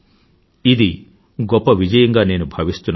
ఇది గొప్ప విజయంగా నేను భావిస్తున్నాను